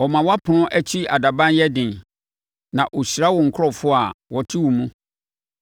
ɔma wʼapono akyi adaban yɛ den na ɔhyira wo nkurɔfoɔ a wɔte wo mu.